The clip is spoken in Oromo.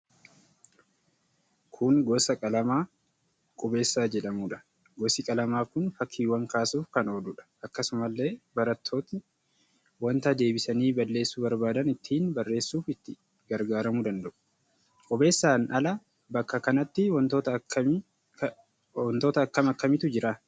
Kun gosa qalamaa qubeessaa jedhamudha. Gosi qalamaa kun fakkiiwwan kaasuuf kan ooludha. Akkasumallee barattooti wanta deebisanii balleessuu barbaadan ittiin barreessuf itti gargaaramuu danda'u. Qubeessaan ala bakka kanatti wantoota akkam akkamiitu jira?